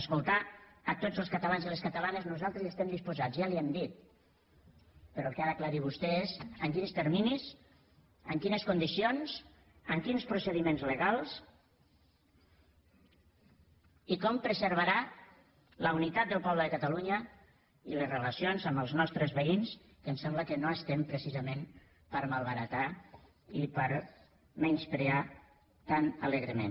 escoltar a tots els catalans i les catalanes nosaltres hi estem disposats ja li ho hem dit però el que ha d’aclarir vostè és en quins terminis en quines condicions amb quins procediments legals i com preservarà la unitat del poble de catalunya i les relacions amb els nostres veïns que em sembla que no estem precisament per malbaratar i per menysprear tan alegrement